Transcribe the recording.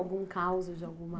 Algum causo de alguma?